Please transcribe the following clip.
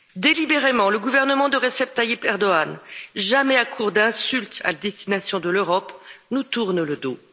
Délibérément, le gouvernement de Recep Tayyip Erdoğan, jamais à court d'insultes à destination de l'Europe, nous tourne le dos.